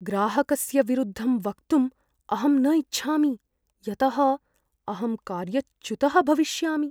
ग्राहकस्य विरुद्धं वक्तुम् अहं न इच्छामि यतः अहं कार्यच्युतः भविष्यामि।